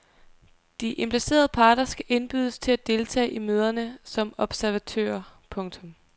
De implicerede parter skal indbydes til at deltage i møderne som observatører. punktum